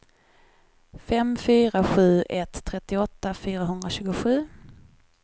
fem fyra sju ett trettioåtta fyrahundratjugosju